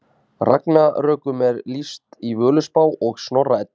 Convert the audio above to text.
ragnarökum er lýst í völuspá og snorra eddu